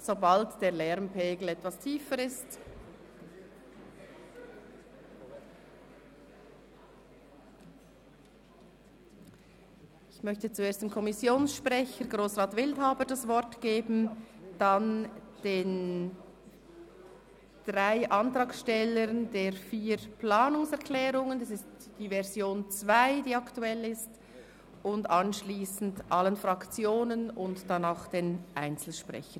Sobald der Lärmpegel etwas tiefer ist, gebe ich zuerst dem Kommissionssprecher Grossrat Wildhaber das Wort, dann den drei Antragstellern der vier Planungserklärungen – aktuell ist Version 2 –, anschliessend allen Fraktionen und dann auch den Einzelsprechern.